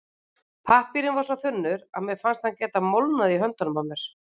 Pappírinn var svo þunnur að mér fannst hann geta molnað í höndunum á mér.